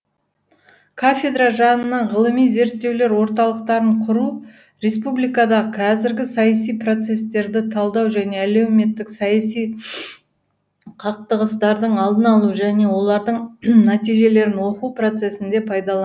кафедра жанынан ғылыми зерттеулер орталықтарын құру республикадағы қазіргі саяси процестерді талдау және әлеуметтік саяси қақтығыстардың алдын алу және олардың нәтижелерін оқу процесінде пайдалану